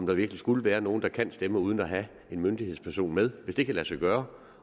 der virkelig skulle være nogle der kan stemme uden at have en myndighedsperson med hvis det kan lade sig gøre